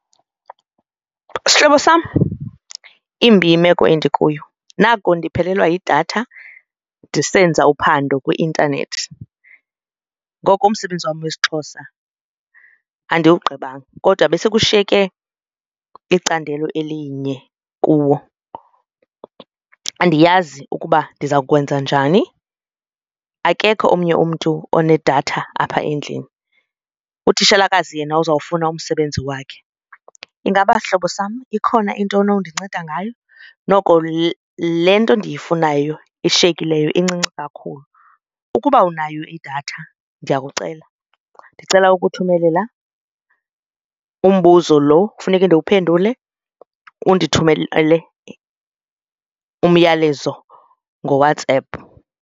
Sihlobo sam, imbi yimeko endikuyo. Naku ndiphelelwa yidatha ndisenza uphando kwi-intanethi ngoko umsebenzi wam wesiXhosa andiwugqibanga kodwa besekushiyeke icandelo elinye kuwo. Andiyazi ukuba ndiza kwenza njani akekho omnye umntu onedatha apha endlini, utitshalakazi yena uzawufuna umsebenzi wakhe. Ingaba sihlobo sam ikhona intoni undinceda ngayo? Noko le nto ndiyifunayo ishiyekileyo incinci kakhulu. Ukuba unayo idatha ndiyakucela, ndicela ukuthumelela umbuzo lo kufuneke ndiwuphendule undithumelele umyalezo ngoWhatsApp.